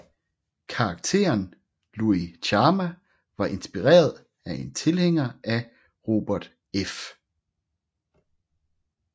Karakteren Luis Chama var inspireret af en tilhænger af Robert F